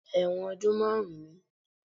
Ẹ̀wọ̀n ọdún márùn-ún ni